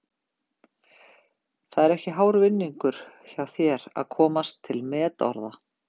Það er ekki hár vinningur hjá þér að komast til metorða.